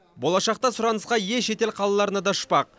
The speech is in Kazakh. болашақта сұранысқа ие шетел қалаларына да ұшпақ